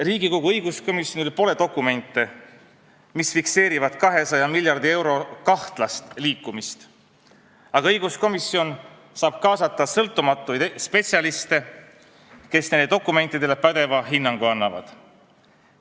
Riigikogu õiguskomisjonil pole dokumente, mis fikseerivad 200 miljardi euro kahtlast liikumist, aga õiguskomisjon saab kaasata sõltumatuid spetsialiste, kes nendele dokumentidele pädeva hinnangu annavad.